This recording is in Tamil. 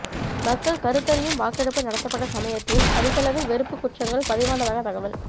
மக்கள் கருத்தறியும் வாக்கெடுப்பு நடத்தப்பட்ட சமயத்தில் அதிகளவில் வெறுப்பு குற்றங்கள் பதிவானதாக தகவல்